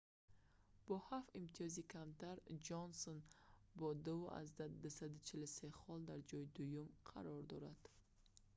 бо ҳафт имтиёзи камтар ҷонсон бо 2,243 хол дар ҷойи дуюм қарор дорад